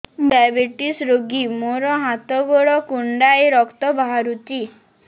ମୁ ଡାଏବେଟିସ ରୋଗୀ ମୋର ହାତ ଗୋଡ଼ କୁଣ୍ଡାଇ ରକ୍ତ ବାହାରୁଚି